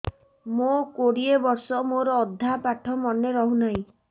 ମୋ କୋଡ଼ିଏ ବର୍ଷ ମୋର ଅଧା ପାଠ ମନେ ରହୁନାହିଁ